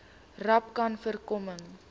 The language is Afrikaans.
rapcanvoorkoming